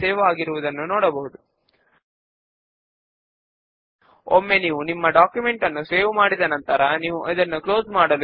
up లేదా down arrow keys ను వాడి మెంబర్స్ గుండా బ్రౌజ్ చేద్దాము